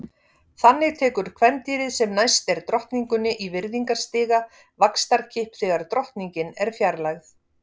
Þannig tekur kvendýrið sem næst er drottningunni í virðingarstiga vaxtarkipp þegar drottningin er fjarlægð.